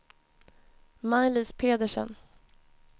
Maj-Lis Pedersen